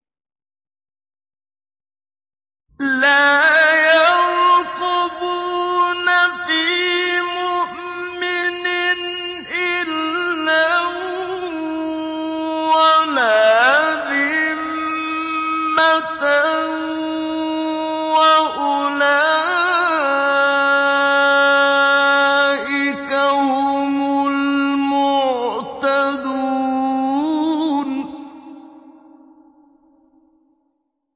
لَا يَرْقُبُونَ فِي مُؤْمِنٍ إِلًّا وَلَا ذِمَّةً ۚ وَأُولَٰئِكَ هُمُ الْمُعْتَدُونَ